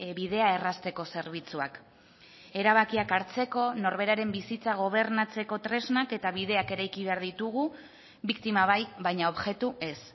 bidea errazteko zerbitzuak erabakiak hartzeko norberaren bizitza gobernatzeko tresnak eta bideak eraiki behar ditugu biktima bai baina objektu ez